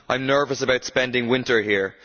I am nervous about spending winter here.